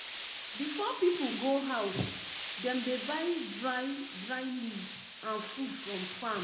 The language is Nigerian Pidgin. before people go house dem dey buy dry dry leaf and food from farm.